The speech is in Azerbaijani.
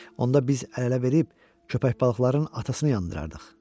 Onda biz əl-ələ verib köpək balıqların atasını yandırardıq.